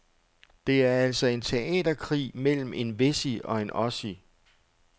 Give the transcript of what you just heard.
Det er altså en teaterkrig mellem en wessie og en ossie.